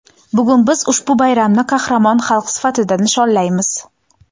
Bugun biz ushbu bayramni qahramon xalq sifatida nishonlaymiz.